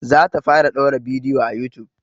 Za ta fara ɗaura bidiyo a youtube